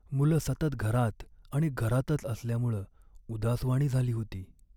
मुलं सतत घरात आणि घरातच असल्यामुळं उदासवाणी झाली होती.